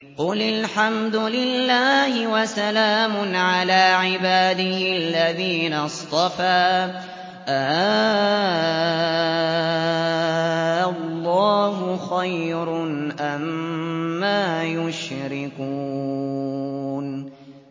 قُلِ الْحَمْدُ لِلَّهِ وَسَلَامٌ عَلَىٰ عِبَادِهِ الَّذِينَ اصْطَفَىٰ ۗ آللَّهُ خَيْرٌ أَمَّا يُشْرِكُونَ